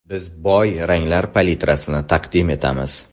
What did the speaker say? Biz boy ranglar palitrasini taqdim etamiz.